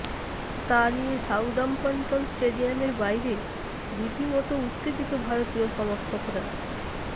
তা নিয়ে সাউদাম্পটন স্টেডিয়ামের বাইরে রীতিমতো উত্তেজিত ভারতীয় সমর্থকরা